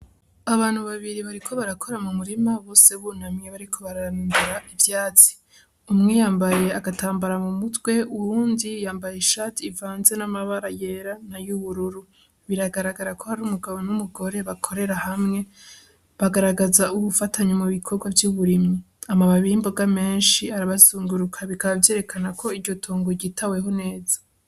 Abantu babiri bariko barakora mumurima bose bunamye bariko bararandura ivyatsi. Umwe yambaye agatambara mumutwe uwundi yambaye ishati ivanze n'amabara yera n'ayubururu. Biragaragara ko ari umugabo n'umugore bakorera hamwe bagaragaza ubufatanye mubikorwa vy'uburimyi. Amababi y'imboga menshi arabazunguruka bikaba vyerekana ko iryo tongo ryitaweho neza.